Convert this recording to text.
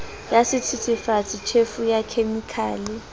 ya sethethefatsi tjhefu ya khemikhale